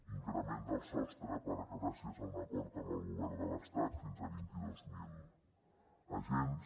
increment del sostre gràcies a un acord amb el govern de l’estat fins a vint dos mil agents